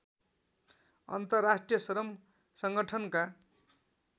अन्तर्राष्ट्रिय श्रम सङ्गठनका